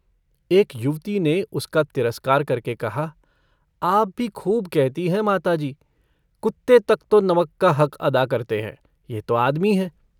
एक युवती ने उसका तिरस्कार करके कहा - आप भी खूब कहती हैं माताजी। कुत्ते तक तो नमक का हद अदा करते हैं, यह तो आदमी हैं।